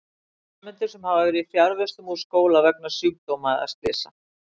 Nemendur sem hafa verið fjarvistum úr skóla vegna sjúkdóma eða slysa.